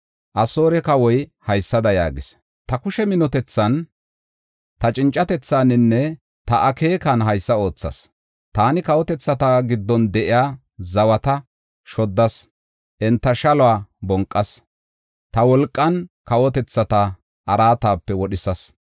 Asoore kawoy haysada yaagees: “Ta kushe minotethan, ta cincatethaaninne ta akeekan haysa oothas. Taani kawotethata giddon de7iya zawata shoddas; enta shaluwa bonqas; ta wolqan kawotethata araatape wodhisas.